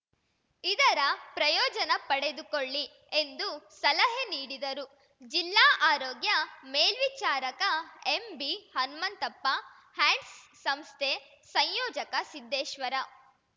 ಇದರ ಪ್ರಯೋಜನ ಪಡೆದುಕೊಳ್ಳಿ ಎಂದು ಸಲಹೆ ನೀಡಿದರು ಜಿಲ್ಲಾ ಆರೋಗ್ಯ ಮೇಲ್ವಿಚಾರಕ ಎಂಬಿಹನ್ಮಂತಪ್ಪ ಹ್ಯಾಂಡ್ಸ್‌ ಸಂಸ್ಥೆ ಸಂಯೋಜಕ ಸಿದ್ದೇಶ್ವರ